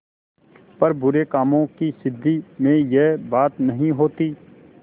पर बुरे कामों की सिद्धि में यह बात नहीं होती